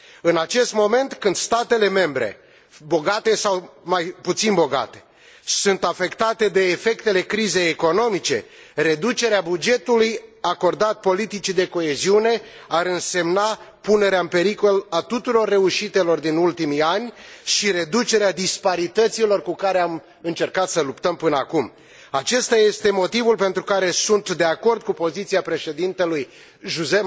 În acest moment, când statele membre bogate sau mai puțin bogate sunt afectate de efectele crizei economice, reducerea bugetului acordat politicii de coeziune ar însemna punerea în pericol a tuturor reușitelor din ultimii ani și reducerea disparităților cu care am încercat să luptăm până acum Acesta este motivul pentru care sunt de acord cu poziția președintelui José